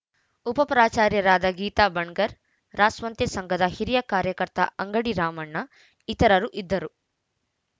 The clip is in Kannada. ಉಪಪ್ರಾಚಾರ್ಯರಾದ ಗೀತಾ ಬಣಕಾರ್‌ ರಾಸ್ವಂಸೇ ಸಂಘದ ಹಿರಿಯ ಕಾರ್ಯಕರ್ತ ಅಂಗಡಿ ರಾಮಣ್ಣ ಇತರರು ಇದ್ದರು